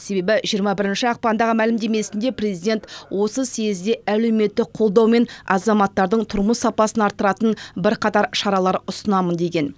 себебі жиырма бірінші ақпандағы мәлімдемесінде президент осы съезде әлеуметтік қолдаумен азаматтардың тұрмыс сапасын арттыратын бір қатар шаралар ұсынамын деген